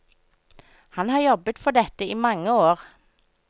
Han har jobbet for dette i mange år.